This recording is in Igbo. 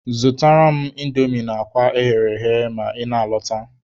Zụtara m indomi na akwa eghere eghe ma ị na-alọta.